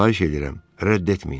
Xahiş eləyirəm, rədd etməyin.